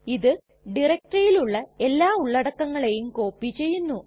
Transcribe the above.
ഇത് ഡയറക്ടറിയിലുള്ള എല്ലാ ഉള്ളടക്കങ്ങളെയും കോപ്പി ചെയ്യുന്നു